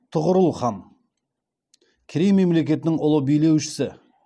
тұғырыл хан керей мемлекетінің ұлы билеушісі